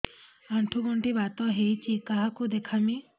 ଆଣ୍ଠୁ ଗଣ୍ଠି ବାତ ହେଇଚି କାହାକୁ ଦେଖାମି